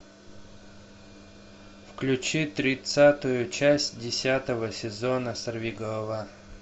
включи тридцатую часть десятого сезона сорвиголова